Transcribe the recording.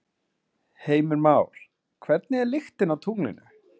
Heimir Már: Hvernig er lyktin á tunglinu?